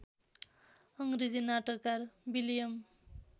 अङ्ग्रेजी नाटककार विलियम